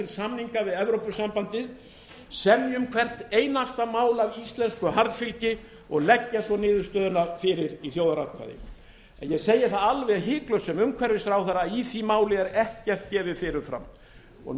við evrópusambandið semja um hvert einasta mál af íslensku harðfylgi og leggja svo niðurstöðuna fyrir í þjóðaratkvæði en ég segi það alveg hiklaust sem umhverfisráðherra að í því máli er ekkert gefið fyrirfram ég vil einungis segja það sem utanríkisráðherra þú ert ekki enn þá